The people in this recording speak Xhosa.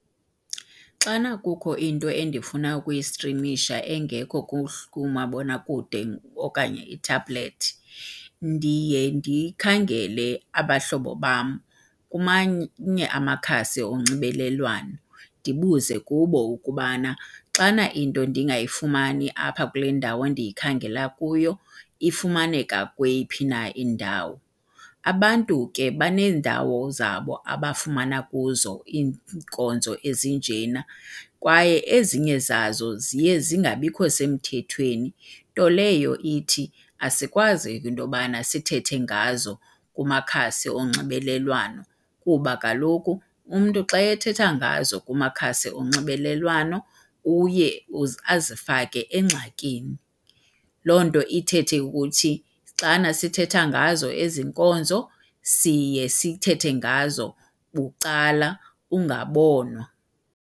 Xana kukho into endifuna ukuyistrimisha engekho kumabonakude okanye kwi-tablet ndiye ndikhangele abahlobo bam amakhasi onxibelelwano ndibuze kubo ukubana xana into ndingayifumani apha kule ndawo ndiyikhangela kuyo ifumaneka kweyiphi na indawo. Abantu ke baneendawo zabo abafumana kuzo iinkonzo ezinjena kwaye ezinye zazo ziye zingabikho semthethweni, nto leyo ithi asikwazi into yobana sithethe ngazo kumakhasi onxibelelwano kuba kaloku umntu xa ethetha ngazo kumakhasi onxibelelwano uye azifake engxakini. Loo nto ithethe ukuthi xana sithetha ngazo ezi nkonzo siye sithethe ngazo bucala ungabonwa.